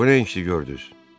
Bu nə inciki gördüz?